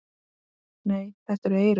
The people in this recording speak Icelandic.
Nei, þetta eru eyrun.